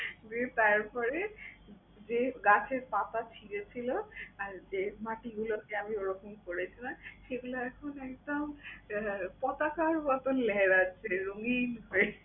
দিয়ে তারপরে যে গাছের পাতা ছিঁড়েছিল আর যে মাটিগুলোকে আমি ওরকম করেছিলাম, সেগুলো এখন একদম পতাকার মত লেহরাচ্ছে রঙ্গিন হয়ে।